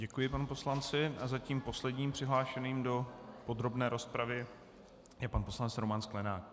Děkuji panu poslanci a zatím posledním přihlášeným do podrobné rozpravy je pan poslanec Roman Sklenák.